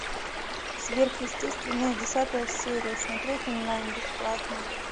сверхъестественное десятая серия смотреть онлайн бесплатно